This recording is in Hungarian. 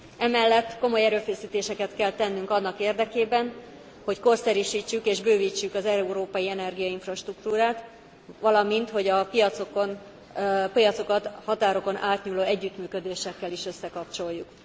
Emellett komoly erőfeszítéseket kell tennünk annak érdekében, hogy korszerűsítsük és bővítsük az európai energiainfrastruktúrát, valamint hogy a piacokat a határokon átnyúló együttműködésekkel is összekapcsoljuk.